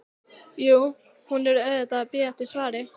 Jú, hún var auðvitað að bíða eftir svari.